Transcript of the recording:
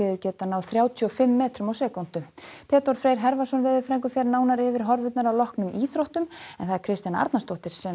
geta náð þrjátíu og fimm metrum á sekúndu Theodór Freyr Hervarsson veðurfræðingur fer nánar yfir horfurnar að loknum íþróttum það er Kristjana Arnarsdóttir sem